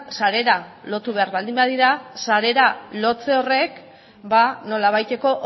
sarera lotu behar baldin badira sarera lotzea horrek ba nolabaiteko